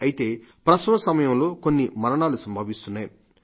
అయితే ప్రసవం సమయంలో కొన్ని మరణాలు సంభవిస్తున్నాయి